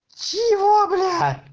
чего бля